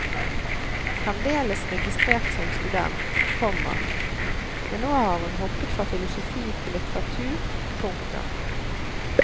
Fremdeles registrert som student, komma men nå har hun hoppet fra filosofi til litteratur. punktum